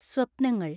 സ്വപ്നങ്ങൾ